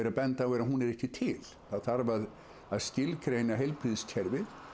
benda á er að hún er ekki til það þarf að að skilgreina heilbrigðiskerfið